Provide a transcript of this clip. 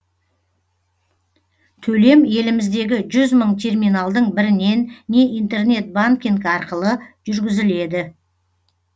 төлем еліміздегі жүз мың терминалдың бірінен не интернет банкинг арқылы жүргізіледі